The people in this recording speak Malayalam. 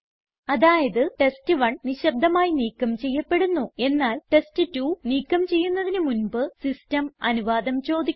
അതായത് ടെസ്റ്റ്1 നിശബ്ദമായി നീക്കം ചെയ്യപ്പെടുന്നു എന്നാൽ ടെസ്റ്റ്2 നീക്കം ചെയ്യുന്നതിന് മുൻപ് സിസ്റ്റം അനുവാദം ചോദിക്കുന്നു